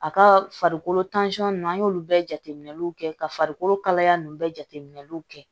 A ka farikolo ninnu an y'olu bɛɛ jateminɛw kɛ ka farikolo kalaya ninnu bɛɛ jateminɛliw kɛ